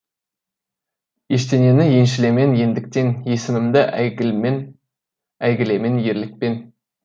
ештеңені еншілемен ендіктен есімімді әйгілемен ерлікпен